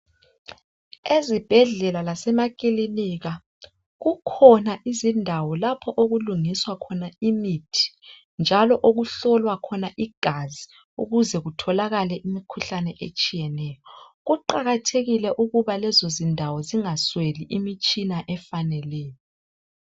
Ezibhedlela lasemaclinika ikhona indawo lapho okulungisea khona imithi njalo okuhlolwa khona igazi ukuze kutholakale imikhuhlane etshiyeneyo kuqakathekile ukubana lezo zindawo zingasweli imitshina efaneleyo